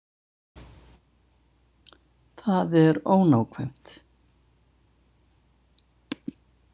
Það er ónákvæmt.